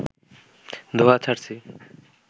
ধোঁয়া ছাড়ছি